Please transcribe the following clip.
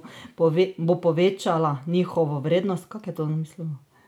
Bo povečala njihovo vrednost?